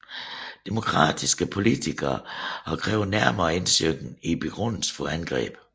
Demokratiske politikere har krævet nærmere indsyn i begrundelsen for angrebet